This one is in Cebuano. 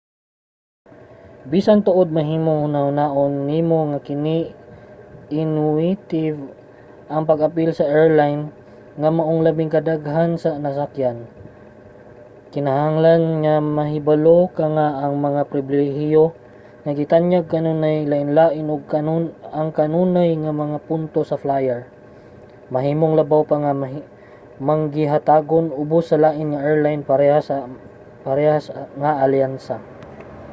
bisan tuod mahimong hunahunaon nimo nga kini intuitive ang pag-apil sa airline nga imong labi kadaghan ng nasakyan kinahanglan nga mahibalo ka nga ang mga pribilehiyo nga gitanyag kanunay lainlain ug ang kanunay nga mga punto sa flyer mahimong labaw pa nga manggihatagon ubos sa lain nga airline sa parehas nga alyansa